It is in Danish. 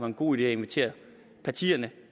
en god idé at invitere partierne